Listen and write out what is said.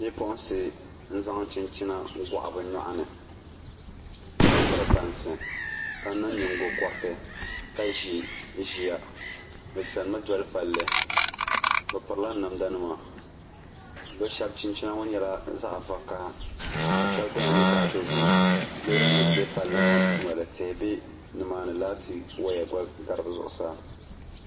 Bipuɣumsi n zaŋ chinchina goɣi bi nyoɣani ka piri bansi ka niŋ nyingokoriti ka ʒi ʒiya bi chɛnimi doli palli bi pirila namda nima bi shab chinchina ŋɔ nyɛla zaɣ vakaɣa ka shab dina nyɛ zaɣ dozim loori nim bɛ palli ŋɔ zuɣu tihi bɛ nimaani laati gba gari bi zuɣusaa